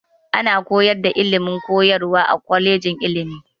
Ana koyar da ilimin koyarwa a kwaleji ilimi.